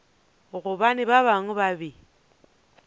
gobane ba bangwe ba be